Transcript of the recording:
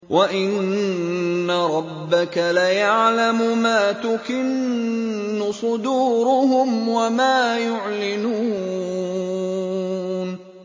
وَإِنَّ رَبَّكَ لَيَعْلَمُ مَا تُكِنُّ صُدُورُهُمْ وَمَا يُعْلِنُونَ